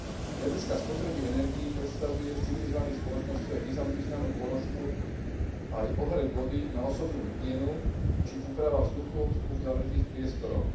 Z hľadiska spotreby energií predstavuje v civilizovaných spoločnostiach významnú položku aj ohrev vody na osobnú hygienu či úprava vzduchu v uzavretých priestoroch.